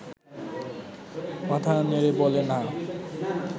মাথা নেড়ে বলে– না